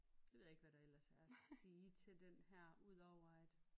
Det ved jeg ikke hvad der ellers er at sige til den her udover at